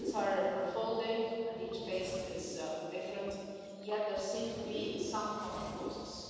Events are unfolding and each case is different, yet there seem to be some common causes.